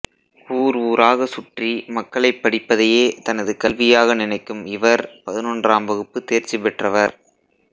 ஊர் ஊராக சுற்றி மக்களை படிப்பதையே தனது கல்வியாக நினைக்கும் இவர் பதினொன்றாம் வகுப்பு தேர்ச்சி பெற்றவர்